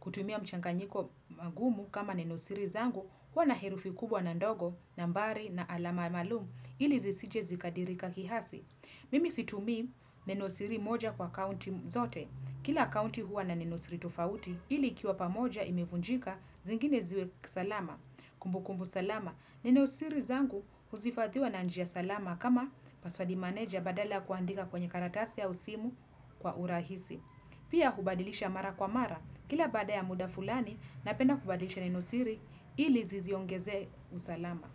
Kutumia mchanganyiko mgumu kama nenosiri zangu huwa na herufi kubwa na ndogo, nambari na alama maalumu ili zisije zikadirika kihasi. Mimi situmii nenosiri moja kwa akaunti zote. Kila akaunti huwa na nenosiri tofauti ili ikiwa moja imevunjika zingine ziwe salama. Kumbukumbu salama, neno siri zangu huhifadhiwa na njia salama kama paswadi meneja badala kuandika kwenye karatasi au simu kwa urahisi. Pia hubadilisha mara kwa mara, kila baada ya muda fulani na penda kubadilisha nenosiri ili niziongezee usalama.